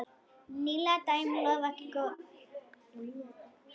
Nýleg dæmi lofa ekki góðu.